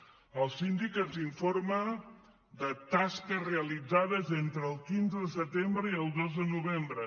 el síndic ens informa de tasques realitzades entre el quinze de setembre i el dos de novembre